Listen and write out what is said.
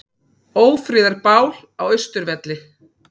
Ófriðarbál á Austurvelli